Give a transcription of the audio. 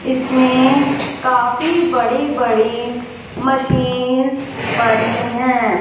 इसमें काफी बड़ी बड़ी मशीनस् पड़ी हैं।